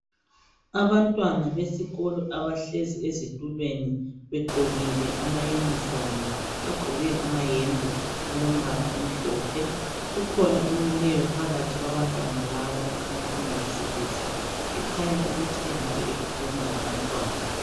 Abantwana besikolo abahlezi ezitulweni begqokile ama unifomu. Bagqoke amayembe alombala omhlophe. Kukhona omileyo phakathi kwabantwana laba okhanya engowesilisa ekhanya ukuthi engabe ekhuluma labantwana.